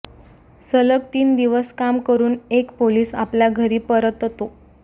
सलग तीन दिवस काम करून एक पोलीस आपल्या घरी परततो